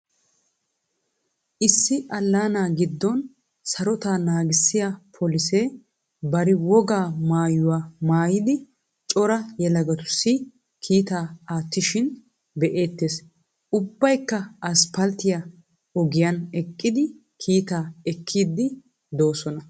Issi Allaana Giddon Sarotaa Naagissiyaa Polisee Bari Wogaa Maayuwaa Maayidi cora Yelagatussi Kiittaa Aattishin Be"ettees. Ubbaykka asppalttiyaa igiyan eqqidi kiittaa ekkiidi de"oosina.